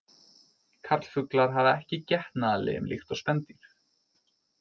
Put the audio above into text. Karlfuglar hafa ekki getnaðarlim líkt og spendýr.